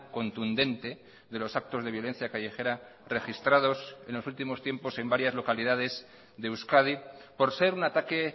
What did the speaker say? contundente de los actos de violencia callejera registrados en los últimos tiempos en varias localidades de euskadi por ser un ataque